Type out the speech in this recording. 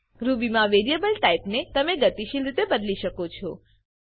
in Ruby મા variable ટાઈપને તમે ગતિશીલ રીતે બદલી શકો છો